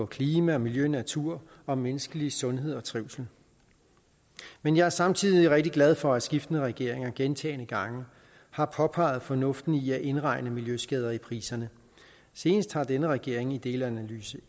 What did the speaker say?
klima miljø natur og menneskelig sundhed og trivsel men jeg er samtidig rigtig glad for at skiftende regeringer gentagne gange har påpeget fornuften i at indregne miljøskader i priserne senest af denne regering i delanalyse